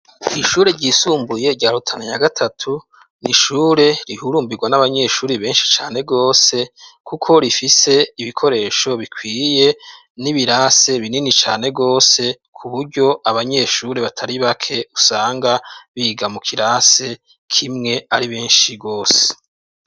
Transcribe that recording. Ishure ryisumbuye rya Rutana ya gatatu ni ishure rihurumbirwa n'abanyeshure benshi cane rwose kuko rifise ibikoresho bikwiye n'ibirasi binini cane rwose ku buryo abanyeshure batari bake usanga biga mu kirasi kimwe ari benshi rwose.